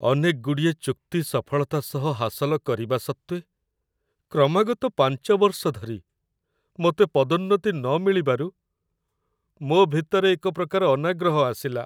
ଅନେକ ଗୁଡ଼ିଏ ଚୁକ୍ତି ସଫଳତା ସହ ହାସଲ କରିବା ସତ୍ତ୍ୱେ, କ୍ରମାଗତ ପାଞ୍ଚ ବର୍ଷ ଧରି ମୋତେ ପଦୋନ୍ନତି ନମିଳିବାରୁ, ମୋ ଭିତରେ ଏକ ପ୍ରକାର ଅନାଗ୍ରହ ଆସିଲା।